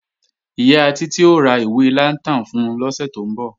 Ìyá Títí ó ra ìwé lantern fun lọ́sẹ̀ tó ń bọ̀